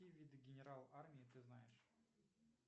какие виды генерал армии ты знаешь